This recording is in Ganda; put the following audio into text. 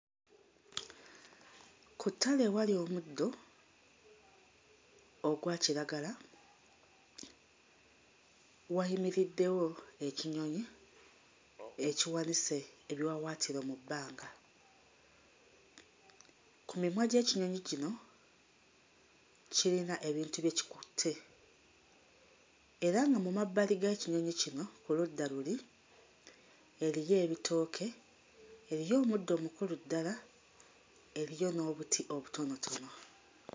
Ku ttale ewali omuddo ogwakiragala wayimiriddewo ekinyonyi ekiwanise ebiwawaatiro mu bbanga. Ku mimwa gy'ekinyonyi kino kiyina ebintu bye kikutte era nga mu mabbali g'ekinyonyi kino oludda luli, eriyo ebitooke, eriyo omuddo omukulu ddala eriyo n'obuti obutonotono.